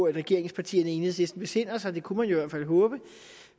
at regeringspartierne og enhedslisten besinder sig det kunne man jo fald håbe